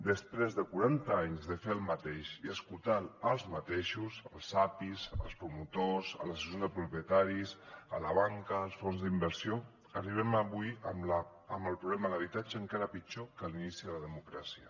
després de quaranta anys de fer el mateix i escoltant els mateixos els apis els promotors les associacions de propietaris la banca els fons d’inversió arribem avui amb el problema de l’habitatge encara pitjor que a l’inici de la democràcia